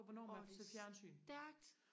åhh så stærkt